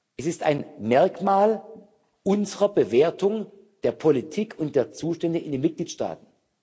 Es ist ein Merkmal unserer Bewertung der Politik und der Zustände in den Mitgliedstaaten.